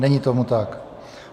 Není tomu tak.